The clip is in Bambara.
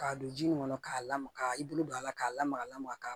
K'a don ji nin kɔnɔ k'a lamaga k'a i bolo don a la k'a lamaga ka